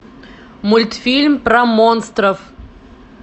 мультфильм про монстров